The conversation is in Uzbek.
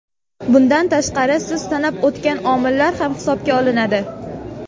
Bundan tashqari, siz sanab o‘tgan omillar ham hisobga olinadi.